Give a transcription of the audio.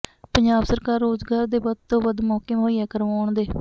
ਪੰਜਾਬ ਸਰਕਾਰ ਰੋਜ਼ਗਾਰ ਦੇ ਵੱਧ ਤੋਂ ਵੱਧ ਮੌਕੇ ਮੁਹੱਈਆ ਕਰਵਾਉਣ ਦੇ